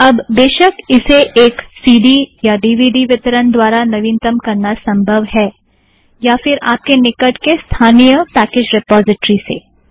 अब बेशक इसे एक सी ड़ी या ड़ीवीड़ी वीतरण द्वारा नवीनतम करना संभव है या फ़िर आपके निकट के स्थानिय पैकेज़ रिपोज़िट्रि से